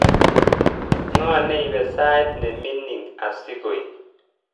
Ngo neipe sait nemining asigoip